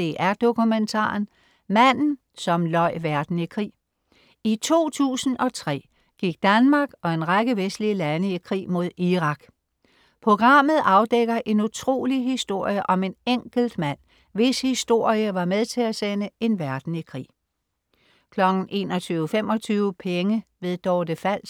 DR1 Dokumentaren: Manden som løj verden i krig. I 2003 gik Danmark og en række vestlige lande i krig mod Irak. Programmet afdækker en utrolig historie om en enkelt mand, hvis historie var med til at sende en verden i krig 21.25 Penge. Dorte Fals